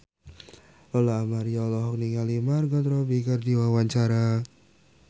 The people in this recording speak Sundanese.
Lola Amaria olohok ningali Margot Robbie keur diwawancara